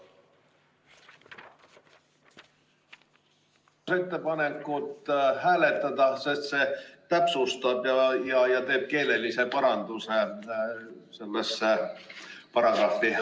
Palun seda ettepanekut hääletada, sest see täpsustab ja teeb keelelise paranduse sellesse paragrahvi.